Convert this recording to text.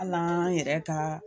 Hal'an yɛrɛ ka